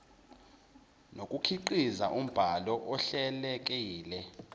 nokukhiqiza umbhalo ohlelekile